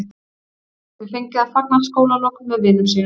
Hann gæti því fengið að fagna skólalokum með vinum sínum.